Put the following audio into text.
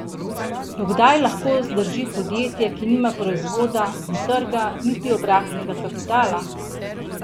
Do kdaj lahko zdrži podjetje, ki nima proizvoda, ne trga, niti obratnega kapitala?